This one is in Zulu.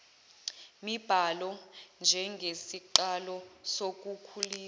mibhalo njengesiqalo sokukhulisa